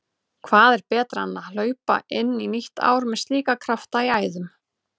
Hvað er betra en hlaupa inn í nýtt ár með slíka krafta í æðum?